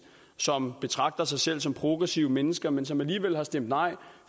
som betragter sig selv som progressive mennesker men som alligevel har stemt nej